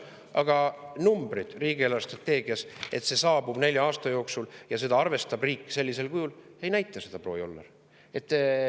Aga numbrid riigi eelarvestrateegias ei näita seda, et see saabub nelja aasta jooksul ja et riik seda arvestab sellisel kujul, proua Joller.